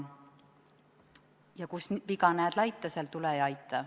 Ja kus viga näed laita, seal tule ja aita.